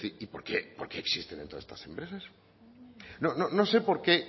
se pregunta y por qué existen todas estas empresas no sé por qué